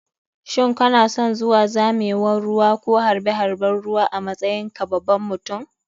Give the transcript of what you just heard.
Shin kanason zuwa zamewan ruwa ko harɓe harɓen ruwa a matsayin ka baban mutum?